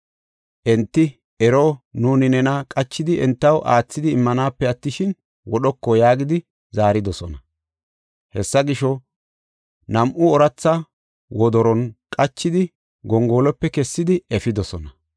Enti, “Ero, nuuni nena qachidi entaw aathidi immanaape attishin, wodhoko” yaagidi zaaridosona. Hessa gisho, nam7u ooratha wodoron qachidi gongoluwape kessidi efidosona.